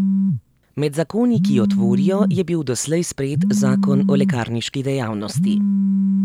Med zakoni, ki jo tvorijo, je bil doslej sprejet zakon o lekarniški dejavnosti.